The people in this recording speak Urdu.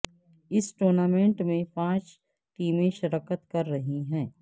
اس ٹورنامنٹ میں پانچ ٹیمیں شرکت کر رہی ہیں